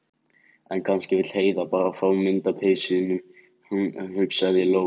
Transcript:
En kannski vill Heiða bara fá mynd af peysunum, hugsaði Lóa- Lóa.